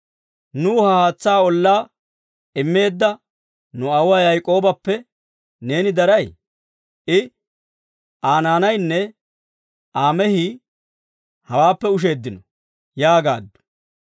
Nuw ha haatsaa ollaa immeedda nu aawuwaa Yaak'oobappe neeni daray? I, Aa naanaynne Aa mehii hawaappe usheeddino» yaagaaddu.